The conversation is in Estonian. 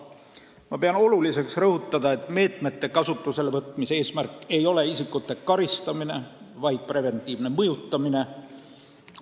Ma pean vajalikuks rõhutada, et uute meetmete kasutusele võtmise eesmärk ei ole isikute karistamine, vaid preventiivne mõjutamine.